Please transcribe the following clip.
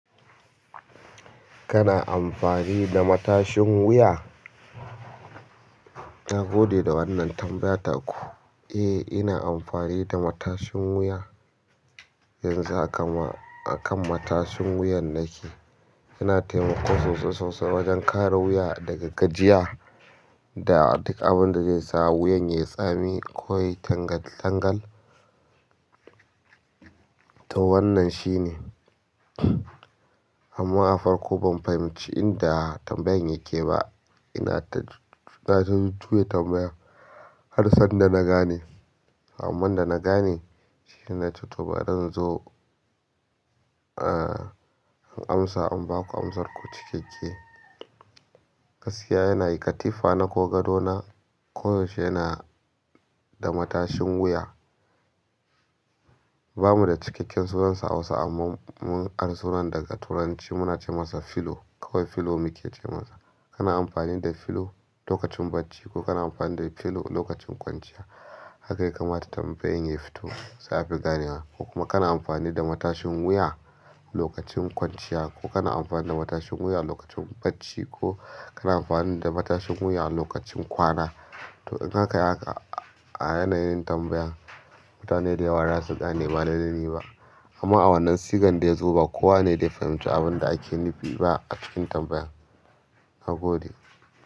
Kana amfani da matashin wuya? Na gode da wannan tambaya taku. Eh, ina amfani da matashin wuya. Yanzu a hakan ma, a kan matashin wuyan nake. Yana taimako sosai sosai wajen kare wuya daga gajiya da duk abinda zai sawo wuyan yayi tsami koyayi tangal tangal to wannan shine. Amma a farko ban fahimci inda tambayan yake ba. Ina ta, tututu na ju juya tambaya har sanda na gane. Amman da na gane shine na ce to bari in zo, ah, in amsa, in ba ku amsarku cikakke. Gaskiya yana yin katifa na ko gado na koyaushe yana da matashin wuya. Ba mu da cikakken sunansa a Hausa amma mun ara sunan daga Turanci muna ce masa filo. Kawai filo muke ce masa. Kana amfani da filo lokacin bacci ko kana amfani da filo lokacin kwanciya. Haka yakamata tambayan ya fito za fi ganewa ko kuma kana amfani da matashin wuya lokacin kwanciya ko kana amfani da matashin wuya lokacin bacci ko kana amfani da matashin wuya lokacin kwana. To in aka yi haka a yanayin tambayan. Mutane dayawa ba za su gane ba yanayi ba. Amma a wannan sigar da ya zo ba kowa ne ya fahimci abin da ake nufi ba a cikin tambayan. Na gode.